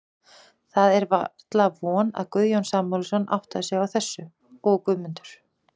Það var varla von, að Guðjón Samúelsson áttaði sig á þessu, og Guðmundur